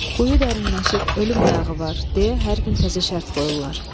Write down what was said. Quyu dərinləşib, ölüm ayağı var deyə hər gün təzə şərt qoyurlar.